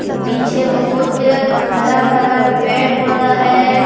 पीछे बहुत हरा भरा पेड़ पौधा है।